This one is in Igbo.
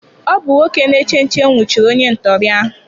Ọ bụ nwoke na-eche nche nwụchiri onye ntọọrị ahụ.